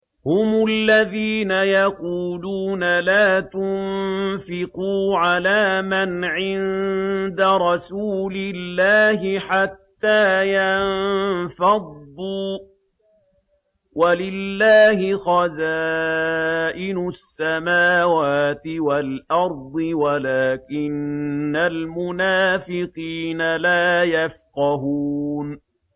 هُمُ الَّذِينَ يَقُولُونَ لَا تُنفِقُوا عَلَىٰ مَنْ عِندَ رَسُولِ اللَّهِ حَتَّىٰ يَنفَضُّوا ۗ وَلِلَّهِ خَزَائِنُ السَّمَاوَاتِ وَالْأَرْضِ وَلَٰكِنَّ الْمُنَافِقِينَ لَا يَفْقَهُونَ